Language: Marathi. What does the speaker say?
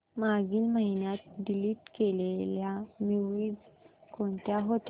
मागील महिन्यात डिलीट केलेल्या मूवीझ कोणत्या होत्या